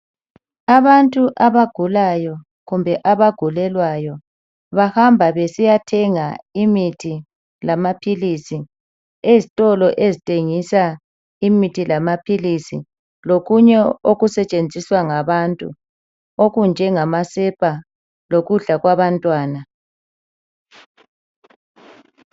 Abantu abagulayo kumbe abagulelwayo bahamba besiyathenga imithi lamaphilisi ezitolo ezithengisa imithi lamaphilisi lokunye okusetshenziswa ngabantu okunjengamasepa lokudla kwabantwana .